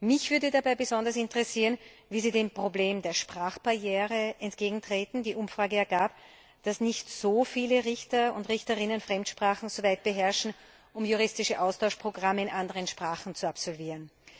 Mich würde dabei besonders interessieren, wie Sie dem Problem der Sprachbarriere entgegentreten werden. Die Umfrage ergab, dass nicht so viele Richter und Richterinnen Fremdsprachen soweit beherrschen, um juristische Austauschprogramme in anderen Sprachen zu absolvieren.